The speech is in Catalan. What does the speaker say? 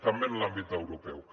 també en l’àmbit europeu